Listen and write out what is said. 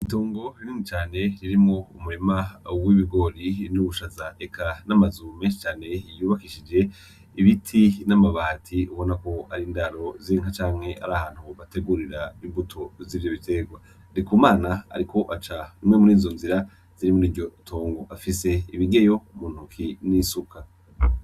Itongo rinini cane ririmwo umurima w'ibigori n'ubushaza, eka n'amazu menshi cane yubakishije ibiti n'amabati, ubona ko ari indaro z'inka canke ari ahantu bategurira imbuto z'ivyo biterwa. Ndikumana ariko aca imwe murizo nzira ziri muri iryo tongo afise ibigeyo muntoke n'isuka.